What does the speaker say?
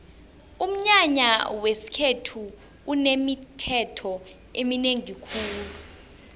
umnyanya wesikhethu unemithetho eminengi khulu